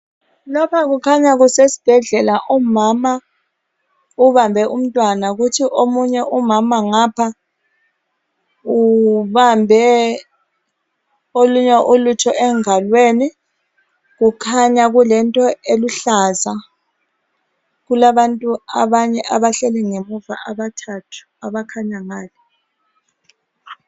Lapha kukhanya kusesibhedlela umama ubambe umntwana kuthi omunye umama ngapha ubambe olunye ulutho engalweni kukhanya kulento eluhlaza kulabantu abanye abahleli ngamuva abathathu abakhanya ngale